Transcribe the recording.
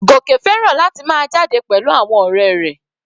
Goke fẹ́ràn láti máa jáde pẹ̀lú àwọn ọ̀rẹ́ rẹ̀.